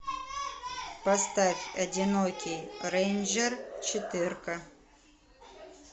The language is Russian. поставь одинокий рейнджер четырка